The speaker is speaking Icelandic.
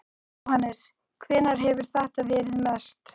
Jóhannes: Hvenær hefur þetta verið mest?